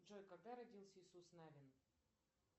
джой когда родился иисус навин